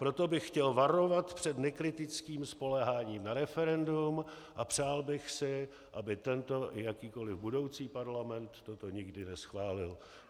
Proto bych chtěl varovat před nekritickým spoléháním na referendum a přál bych si, aby tento i jakýkoli budoucí parlament toto nikdy neschválil."